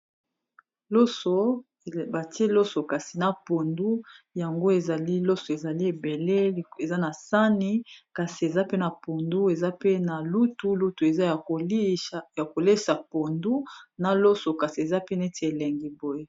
loso batie loso kasi na pondu yango ezali loso ezali ebele eza na sani kasi eza pe na pondu eza pe na lutu eza ya kolesa pondu na loso kasi eza pe neti elengi boye